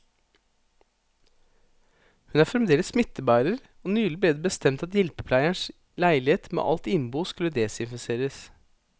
Hun er fremdeles smittebærer, og nylig ble det bestemt at hjelpepleierens leilighet med alt innbo skulle desinfiseres.